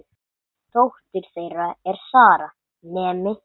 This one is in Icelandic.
Dóttir þeirra er Sara, nemi.